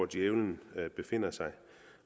djævlen befinder sig